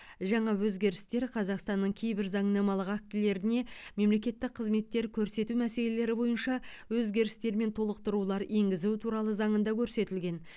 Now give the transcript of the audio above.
жаңа өзгерістер қазақстанның кейбір заңнамалық актілеріне мемлекеттік қызметтер көрсету мәселелері бойынша өзгерістер мен толықтырулар енгізу туралы заңында көрсетілген